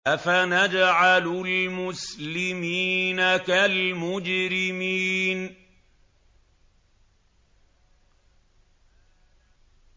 أَفَنَجْعَلُ الْمُسْلِمِينَ كَالْمُجْرِمِينَ